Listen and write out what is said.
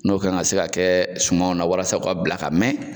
N'o kan ka se ka kɛ sumanw na walasa u ka bila ka mɛn.